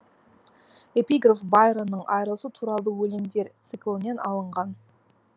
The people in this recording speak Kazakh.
эпиграф байронның айрылысу туралы өлеңдер циклінен алынған